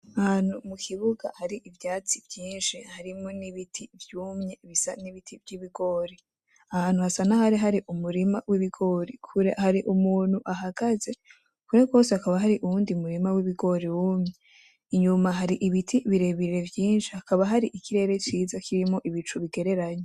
Ahantu mukibuga har'ivyatsi vyinshi harimwo n'ibiti vyumye bisa nibiti vy'ibigori, aha hantu hasa nahantu hari umurima w'ibigori kure har'umuntu ahagaze kure gose har'uwundi murima w'ibigori wumye, inyuma har'ibiti birebire vyinshi hakaba har'ikirere ciza kirimwo ibicu bigereranye.